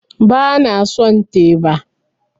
Ba na son teba